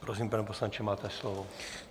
Prosím, pane poslanče, máte slovo.